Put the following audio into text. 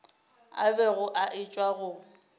a bego a etšwa go